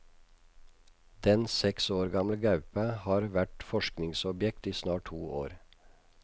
Den seks år gamle gaupa har vært forskningsobjekt i snart to år.